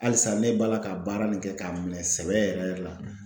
Halisa ne b'a la ka baara nin kɛ k'a minɛ sɛbɛ yɛrɛ yɛrɛ la.